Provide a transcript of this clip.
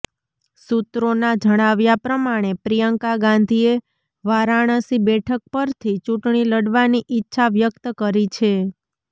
સૂત્રોના જણાવ્યા પ્રમાણે પ્રિયંકા ગાંધીએ વારાણસી બેઠક પરથી ચૂંટણી લડવાની ઈચ્છા વ્યક્ત કરી છે